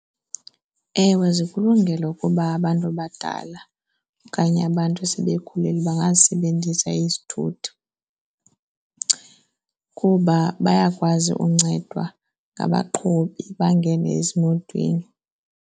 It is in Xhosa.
Ewe, zikulungele ukuba abantu abadala okanye abantu esebekhulile bangazisebenzisa izithuthi kuba bayakwazi uncedwa ngabaqhubi, bangene ezimotweni.